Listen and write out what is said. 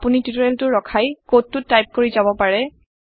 আপোনি টিওটৰিয়েলটো ৰখাই কডটো টাইপ কৰি যাব পাৰে